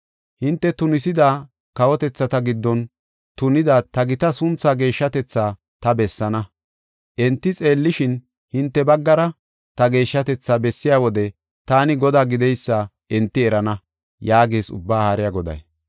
Hinte tunisida, kawotethata giddon tunida ta gita sunthaa geeshshatetha ta bessaana. Enti xeellishin, hinte baggara ta geeshshatetha bessiya wode, taani Godaa gideysa enti erana’ ” yaagees Ubbaa Haariya Goday.